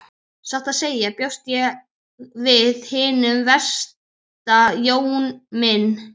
Satt að segja bjóst ég við hinu versta Jón minn.